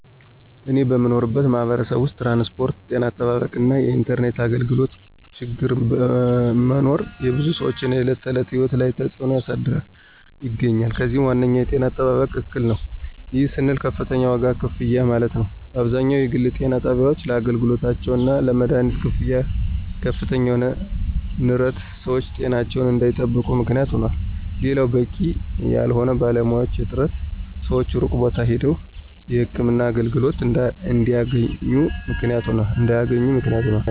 እኔ በምኖርበት ማህበረሰብ ውስጥ ትራንስፖርት፣ ጤና አጠባበቅ እና የኢንተርኔት አገልግሎቶ ችግር መኖር የብዙ ሰወች የዕለት ተዕለት ህይወት ላይ ተፅዕኖ እያሳደረ ይገኛል። ከዚህም ዋነኛው የጤና አጠባበቅ እክል ነው። ይህም ስንል ከፍተኛ ዋጋ ክፍያ ማለትም አብዛኛው የግል ጤና ጣቢያወች ለአገልግሎታቸው እና ለመደሀኒት ክፍያ ከፍተኛ የሆነ ንረት ሰወች ጤናቸውን እንዳይጠብቁ ምክንያት ይሆናል። ሌላው በቂ ያልሆነ የባለሙያዎች እጥረት ሰወች ሩቅ ቦታ ሄደው የህክምና አገልግሎት እንዲያገኙ ምክንያት ሆኗል።